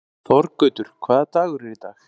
Þorgautur, hvaða dagur er í dag?